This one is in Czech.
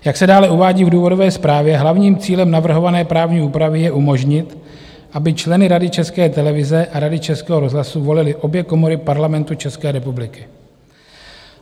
Jak se dále uvádí v důvodové zprávě, hlavním cílem navrhované právní úpravy je umožnit, aby členy Rady České televize a Rady Českého rozhlasu volily obě komory Parlamentu České republiky.